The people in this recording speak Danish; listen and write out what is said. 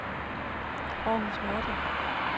Århus Nordre